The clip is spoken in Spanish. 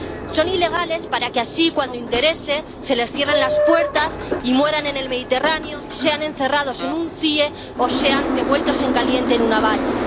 Son ilegales para que así, cuando interese, se les cierren las puertas y mueran en el Mediterráneo, sean encerrados en un CIE o sean devueltos en caliente en una valla.